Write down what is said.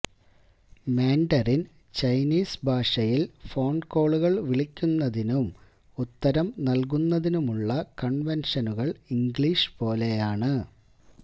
Mandarin Chinese ഭാഷയിൽ phone കോളുകൾ വിളിക്കുന്നതിനും ഉത്തരം നൽകുന്നതിനുമുള്ള കൺവെൻഷനുകൾ ഇംഗ്ലീഷ് പോലെയാണ്